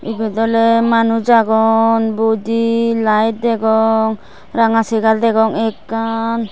ebot oley manuj agon budi layet degong ranga chegar degong ekkan.